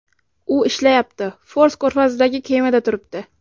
U ishlayapti, Fors ko‘rfazidagi kemada turibdi.